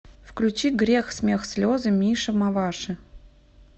включи грех смех слезы миша маваши